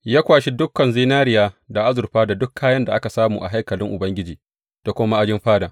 Ya kwashi ɗaukan zinariya da azurfa da duk kayan da aka samu a haikalin Ubangiji da kuma ma’ajin fadan.